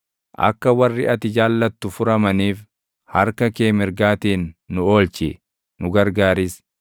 Akka warri ati jaallattu furamaniif, harka kee mirgaatiin nu oolchi; nu gargaaris;